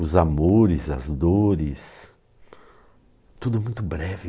Os amores, as dores, tudo muito breve.